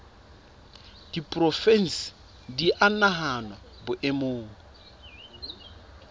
diporofensi di a nahanwa boemong